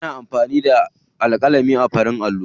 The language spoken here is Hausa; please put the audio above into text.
Ana amfani da alƙalami a farin allo.